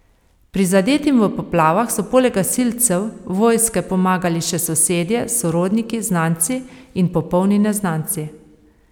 Prizadetim v poplavah so poleg gasilcev, vojske pomagali še sosedje, sorodniki, znanci in popolni neznanci.